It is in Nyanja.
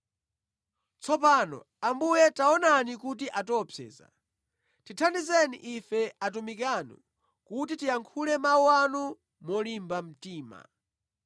Tsopano, Ambuye taonani kuti atiopseza, tithandizeni ife atumiki anu, kuti tiyankhule mawu anu molimba mtima.